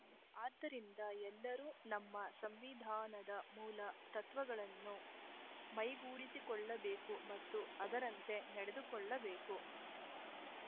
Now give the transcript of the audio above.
ಆದ್ದರಿಂದ ಎಲ್ಲರೂ ನಮ್ಮ ಸಂವಿಧಾನದ ಮೂಲ ತತ್ವಗಳನ್ನು ಮೈಗೂಡಿಸಿಕೊಳ್ಳಬೇಕು ಮತ್ತು ಅದರಂತೆ ನಡೆದುಕೊಳ್ಳಬೇಕು